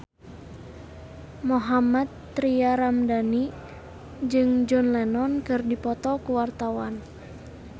Mohammad Tria Ramadhani jeung John Lennon keur dipoto ku wartawan